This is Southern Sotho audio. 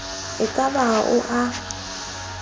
e ka ba ao e